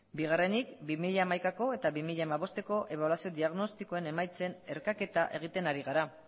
bigarrenik bi mila hamaikako eta bi mila hamabosteko ebaluazio diagnostikoen emaitzen erkaketa egiten ari gara